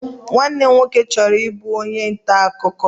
Nwanne m nwoke chọrọ ịbụ onye nta akụkọ.